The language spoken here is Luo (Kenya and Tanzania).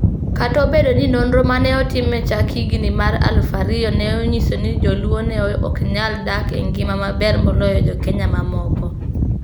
Kata obedo ni nonro ma ne otim e chak higini mag 2000 ne onyiso ni Jo-luo ne ok nyal dak e ngima maber moloyo Jo-Kenya mamoko,